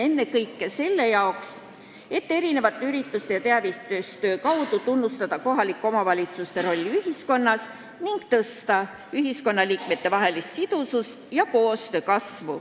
Ennekõike annab see võimaluse erinevate ürituste ja teavitustöö abil tunnustada kohalike omavalitsuste rolli ühiskonnas ning parandada ühiskonnaliikmetevahelist sidusust ja koostööd.